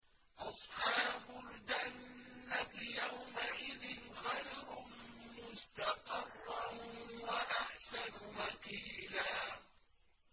أَصْحَابُ الْجَنَّةِ يَوْمَئِذٍ خَيْرٌ مُّسْتَقَرًّا وَأَحْسَنُ مَقِيلًا